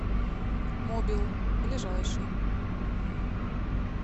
мобил ближайший